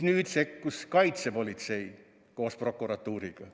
Nüüd sekkus kaitsepolitsei koos prokuratuuriga.